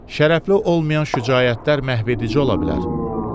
Şərəfli olmayan şücaətlər məhvedici ola bilər.